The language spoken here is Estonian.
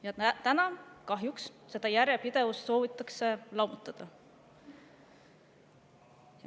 Täna soovitakse kahjuks seda järjepidevust lammutada.